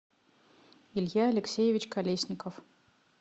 илья алексеевич колесников